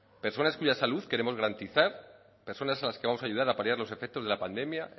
personas cuya salud queremos garantizar personas a las que vamos a ayudar a paliar los efectos de la pandemia